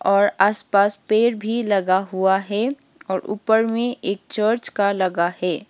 और आस पास पेड़ भी लगा हुआ है और ऊपर मे एक चर्च का लगा है।